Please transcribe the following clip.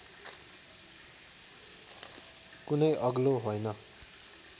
कुनै अग्लो हैन